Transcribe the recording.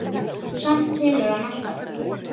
Samt telur hann alltaf.